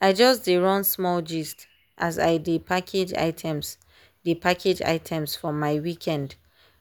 i just dey run small gist as i dey package items dey package items from my weekend